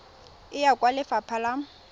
e ya kwa lefapha la